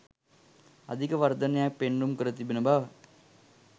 අධික වර්ධනයක් පෙන්නුම් කර තිබෙන බව